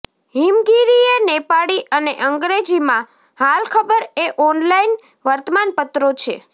હિમગિરી એ નેપાળી અને અંગ્રેજીમાં હાલખબર એ ઓનલાઈન વર્તમાનપત્રો છે